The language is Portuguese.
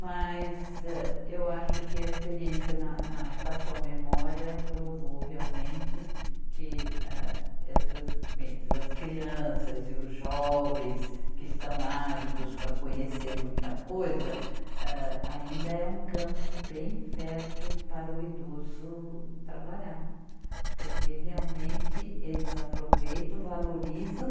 Mas, âh, eu acho que a experiência na, na Estação Memória provou realmente que, âh, essas, bem, essas crianças e os jovens que estão ávidos para conhecer muita coisa, âh, ainda é um campo bem fértil para o idoso trabalhar, porque realmente eles aproveitam, valorizam